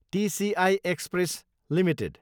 TCI express Ltd